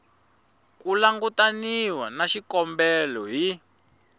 ku langutaniwa na xikombelo hi